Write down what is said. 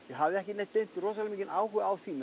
hafði ekki beint áhuga á því